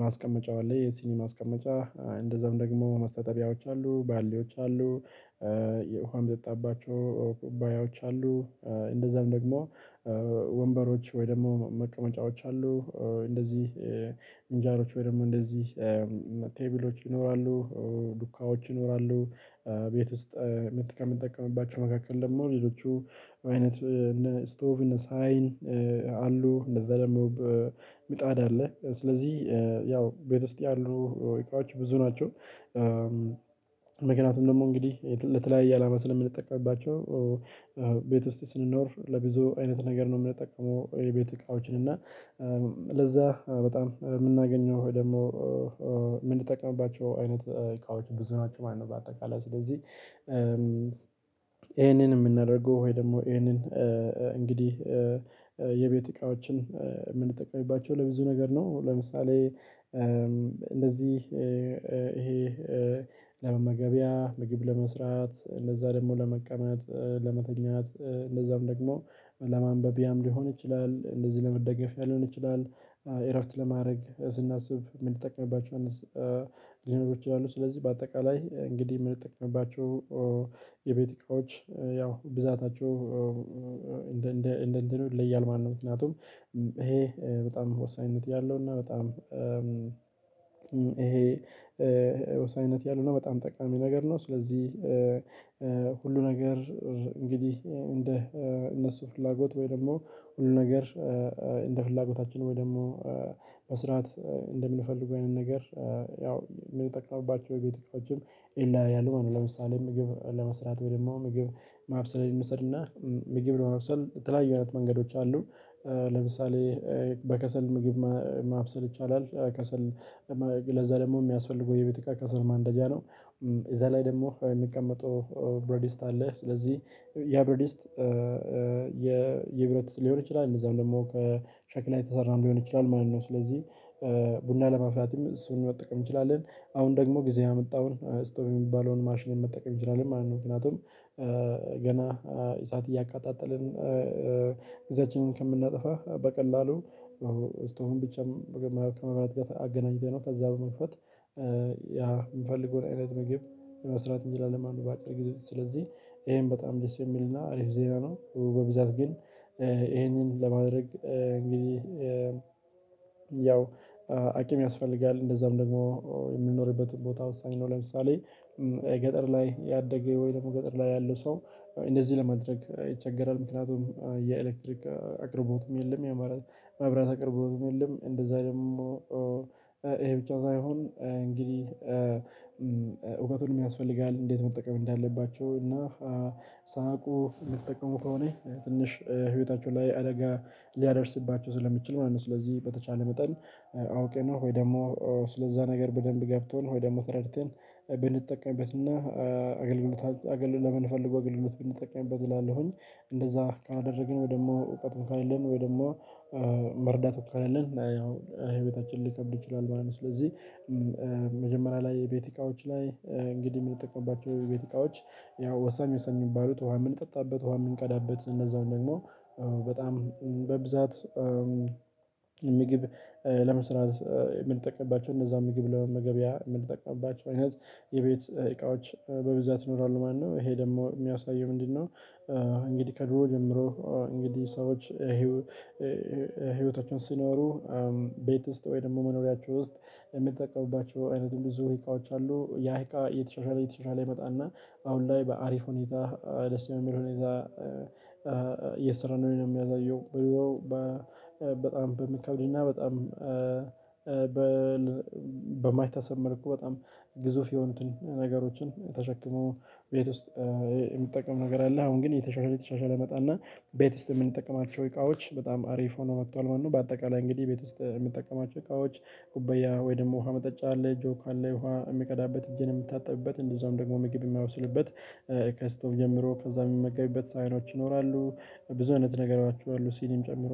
ማስቀመጫው አለ የሲኒማ አስቀመጫ እንደዛውም ደግሞ መስተጠቢያዎች አሉ ባሌዎች አሉ። የውሃም የሚጠጣባቸው ኩባያዎች አሉ። እንደዛም ደግሞ ወንበሮች ወይ ደግሞ መቀመጫዎች አሉ። እንደዚህ ፍንጃሎች ወይም ደግሞ እንደዚህ ቴብሎች ይኖራሉ። ዱካዎች ይኖራሉ። ቤት ውስጥ ምት ከምንጠቀምባቸው መካከል ደግሞ ሌሎቹ አይነት እነ ስቶቭ እነ ሳይህን አሉ እንደዛ ደግሞ በምጣድ አለ ስለዚህ ያው ቤት ውስጥ ያሉ ወይቃዎች ብዙ ናቸው። ምክንያቱም ደግሞ እንግዲህ ለተለያየ አላማ ስለምንጠቀምባቸው ቤት ውስጥ ስንኖር ለብዙ አይነት ነገር ነው የምንጠቀመው የቤት እቃዎችን እና ለዛ በጣም የምናገኘው ወይ ደግሞ ምንጠቀምባቸው አይነት እቃዎች ብዙ ናቸው ማለት ነው። በአጠቃላይ ስለዚህ ይሄንን የምናደርገው ወይ ደግሞ ይሄንን እንግዲህ የቤት እቃዎችን የምንጠቀማቸው ለብዙ ነገር ነው። ለምሳሌ እንደዚህ ይሄ ለመመገቢያ ምግብ ለመስራት እነዛ ደግሞ ለመቀመጥ ለመተኛት እነዛም ደግሞ ለማንበቢያም ሊሆን ይችላል። እንደዚህ ለመደገፍ ያልሆነ ይችላል። እረፍት ለማድረግ ስናስብ ምንጠቀምባቸው ሊኖሩ ይችላሉ። ስለዚህ በአጠቃላይ እንግዲህ የምንጠቀምባቸው የቤት እቃዎች ያው ብዛታቸው እንደ እንደ እንደ ለያል ማነው ምክንያቱም ይሄ በጣም ወሳኝነት ያለው እና በጣም ይሄ ወሳኝነት ያለው ነው በጣም ጠቃሚ ነገር ነው። ስለዚህ ሁሉ ነገር እንግዲህ እንደ እነሱ ፍላጎት ወይ ደግሞ ሁሉ ነገር እንደ ፍላጎታችን ወይ ደግሞ መስራት እንደምንፈልገው አይነት ነገር ያው የምንጠቅመውባቸው ቤት እቃዎችም ይለያያሉ ማለት ነው። ለምሳሌ ምግብ ለመስራት ወይም ደግሞ ምግብ ማብሰል እንውሰድና ምግብ ለመውሰድ ትላንት የሆነት መንገዶች አሉ። ለምሳሌ በከሰል ምግብ ማብሰል ይቻላል። ከሰል ለዛ ደግሞ የሚያስፈልገው የቤት እቃ ከሰል ማንደጃ ነው። እዛ ላይ ደግሞ የሚቀመጠው ብረዲስት አለ ስለዚህ ያ ብረዲስት የብረት ሊሆን ይችላል እነዛን ደግሞ ከሸክላ የተሰራም ሊሆን ይችላል ማለት ነው። ስለዚህ ቡና ለማፍላትም እሱን መጠቀም እንችላለን። አሁን ደግሞ ጊዜ ያመጣውን ስቶም የሚባለውን ማሽኔን መጠቀም ይችላል ማለት ነው። ምክንያቱም ገና እሳት እያቀጣጠልን ግዚአችንን ከምናጠፋ በቀላሉ ስቶቭም ብቻ መጀመሪያ ከመብራት ጋር አገናኝተነው ከዛ በመክፈት ያ የምፈልገውን አይነት መገብ የመስራት እንጂ ለለማን በአጭር ጊዜ ስለዚህ ይሄን በጣም ደስ የሚልና አሪፍ ዜና ነው። በብዛት ግን ይሄንን ለማድረግ እንግዲህ ያው አቂም ያስፈልጋል እንደዛም ደግሞ የምንኖርበት ቦታ ወሳኝ ነው። ለምሳሌ ገጠር ላይ ያደገ ወይ ደግሞ ገጠር ላይ ያለ ሰው እንደዚህ ለማድረግ ይቸገራል ምክንያቱም የኤሌክትሪክ አቅርቦትም የለም። የአማራጭ መብራት አቅርቦትም የለም። እንደዛ ደግሞ ይሄ ብቻ ሳይሆን እንግዲህ እውቀቱን የሚያስፈልጋል እንዴት መጠቀም እንዳለባቸው እና ሳያውቁ የምጠቀሙ ከሆነ ትንሽ ህይወታቸው ላይ አደጋ ሊያደርስባቸው ስለሚችል ማለት ነው። ስለዚህ በተቻለ መጠን አውቀነው ነው ወይ ደግሞ ስለዛ ነገር በደንብ ገብቶን ወይ ደግሞ ተረዳን ብንጠቀምበትና አገልግሎት አገልግሎት ለምን ፈልጎ አገልግሎት ብንጠቀምበት እላለሁኝ እንደዛ ካደረግን ወይ ደግሞ እውቀትን ካሌልን ወይ ደግሞ መርዳት ወካለን ያው ህይወታችንን ሊከብድ ይችላል ማለት ነው። ስለዚህ መጀመሪያ ላይ የቤት እቃዎች ላይ እንግዲህ የምንጠቀምባቸው የቤት እቃዎች ያው ወሳኝ ወሳኝ የሚባሉት ውሃ የምንጠጣበት ውሃ የምንቀዳበት እነዛውን ደግሞ በጣም በብዛት ምግብ ለመስራት የምንጠቀምባቸው እነዛ ምግብ ለመገበያ የምንጠቀምባቸው አይነት የቤት እቃዎች በብዛት ይኖራሉ ማለት ነው። ይሄ ደግሞ የሚያሳየው ምንድነው? እንግዲህ ከድሮ ጀምሮ እንግዲህ ሰዎች ህይወታቸውን ሲኖሩ ቤት ውስጥ ወይ ደግሞ መኖሪያቸው ውስጥ የምትጠቀሙባቸው አይነት ዝውውር የተወሰኑ አዎ ያ እቃ እየተሻሻለ እየተሻሻለ ይመጣና አሁን ላይ በአሪፍ ሁኔታ ደስ በሚል ሁኔታ እየሰራን ነው። እኔ የሚያዘየው ብሎ በጣም በሚከብድ እና በጣም በማይታሰብ መልኩ በጣም ግዙፍ የሆኑትን ነገሮችን ተሸክሞ ቤት ውስጥ የሚጠቀም ነገር አለ። አሁን ግን የተሻሻለ የተሻሻለ መጣና ቤት ውስጥ የምንጠቀማት ሰው እቃዎች በጣም አሪፍ ሆነው መጥቷል ማለት ነው። በአጠቃላይ እንግዲህ ቤት ውስጥ የሚጠቀማቸው እቃዎች ጉበያ ወይ ደግሞ ውሃ መጠጫ አለ ጆክ አለ ውሃ የሚቀዳበት እጄን የምታጠብበት እንደዛውም ደግሞ ምግብ የማወስልበት ከስቶቭ ጀምሮ ከዛ የምመገብበት ሳህኖች ይኖራሉ። ብዙ አይነት ነገሮች አሉ። ሲኒም ጨምሮ